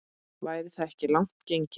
Væri það ekki langt gengið?